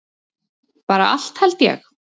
Bara allt held ég.